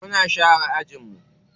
Muna share ajin mu.